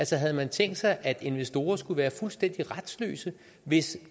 havde man tænkt sig at investorer skulle være fuldstændig retsløse hvis